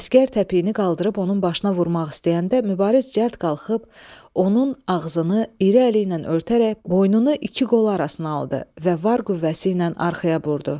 Əsgər təpiyini qaldırıb onun başına vurmaq istəyəndə Mübariz cəld qalxıb, onun ağzını iri əli ilə örtərək boynunu iki qolu arasına aldı və var qüvvəsi ilə arxaya vurdu.